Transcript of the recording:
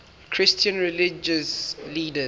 christian religious leaders